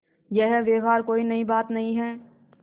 यह व्यवहार कोई नई बात नहीं है